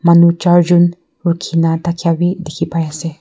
manu chaar jun rukhikena dhakia bi dekhibai ase.